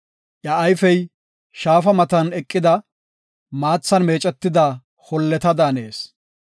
Iya ayfey shaafa matan eqida, maathan meecetida holleta daanees.